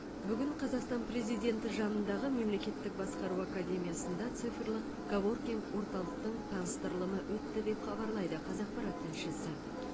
бүгін қазақстан президенті жанындағы мемлекеттік басқару академиясында цифрлық коворкинг орталықтың таныстырылымы өтті деп хабарлайды қазақпарат тілшісі